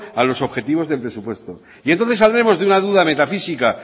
a los objetivos del presupuesto y entonces saldremos de una duda metafísica